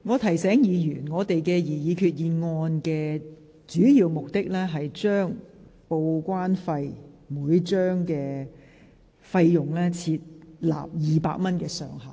我提醒議員，這項擬議決議案的主要目的是就每張報關單的報關費設200元上限。